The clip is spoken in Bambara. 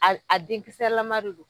A a denkisɛ lama de don.